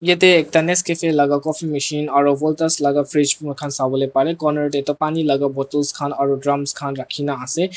yate tanis cafe laga coffee mishin aru voltage laga freez moi khan sa bole pare corner teh tu pani laga bottles khan aru drums khan rakhi na ase.